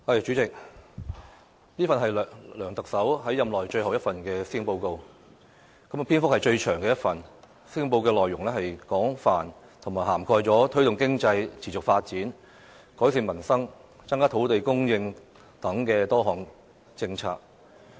主席，這份是梁特首在任內最後一份施政報告，亦是篇幅最長的一份。施政報告的內容廣泛，涵蓋了推動經濟持續發展、改善民生、增加土地供應等多項政策。